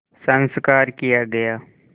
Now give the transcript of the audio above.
संस्कार किया गया